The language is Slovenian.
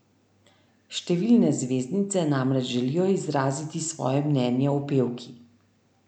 Številne zvezdnice namreč želijo izraziti svoje mnenje o pevki.